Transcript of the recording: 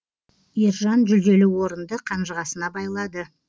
ержан жүлделі орынды қанжығасына байлады